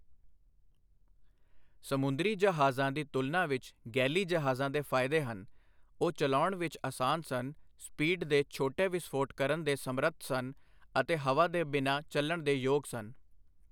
ਸਮੁੰਦਰੀ ਜਹਾਜ਼ਾਂ ਦੀ ਤੁਲਨਾ ਵਿੱਚ ਗੈਲੀ ਜਹਾਜ਼ਾਂ ਦੇ ਫਾਇਦੇ ਹਨਃ ਉਹ ਚਲਾਉਣ ਵਿੱਚ ਅਸਾਨ ਸਨ, ਸਪੀਡ ਦੇ ਛੋਟੇ ਵਿਸਫੋਟ ਕਰਨ ਦੇ ਸਮਰੱਥ ਸਨ ਅਤੇ ਹਵਾ ਦੇ ਬਿਨਾਂ ਚਲਣ ਦੇ ਯੋਗ ਸਨ।